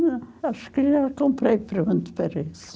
Não, acho que já comprei para parece.